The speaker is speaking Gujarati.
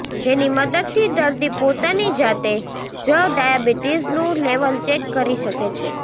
જેની મદદથી દર્દી પોતાની જાતે જ ડાયાબીટિઝનું લેવલ ચેક કરી શકે છે